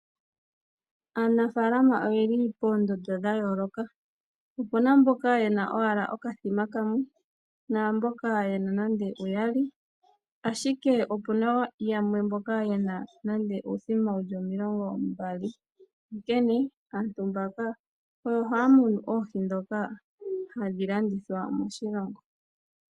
Aanafaalama oyeli poondondo dhayooloka . Opuna mboka yena owala okathima kamwe , naamboka yena nande uyali, ashike opuna mboka yena nande uuthima 20, onkene aantu mbaka oyo haya munu oohi ndhoka hadhi landithwa moshilongo.